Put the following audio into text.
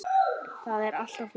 Það er allt á fullu.